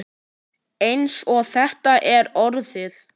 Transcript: Eins og þetta er orðið.